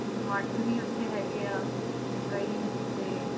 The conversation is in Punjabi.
ਮੱਠ ਵੀ ਉੱਥੇ ਹੈਗੇ ਆ, ਕਈ ਤੇ